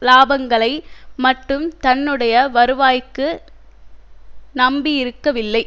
இலாபங்களை மட்டும் தன்னுடைய வருவாய்க்கு நம்பியிருக்கவில்லை